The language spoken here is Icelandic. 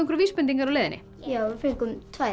vísbendingar á leiðinni já við fengum tvær